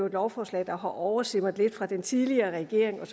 et lovforslag der har oversimret lidt fra den tidligere regering og